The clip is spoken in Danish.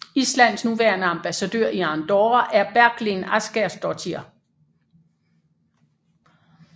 Islands nuværende ambassadør i Andorra er Berglind Ásgeirsdóttir